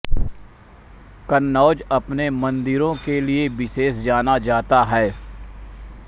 कन्नौज अपने मन्दिरो के लिये विशेष जाना जाता है